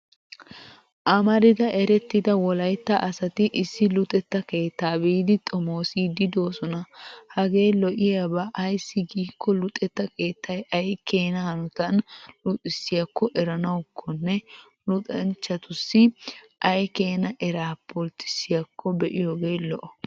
Amarida erettida wolaytta asati issi luxetta keetta biidi xomoosiidsi doosona. Hagee lo'iyaaba ayssi giikko luxetta keettay ay keena hanotan luxissiyaakko eranawukkone luxanchchatissi ay keena eraa pulttisiyaakko be'iyogee lo'o.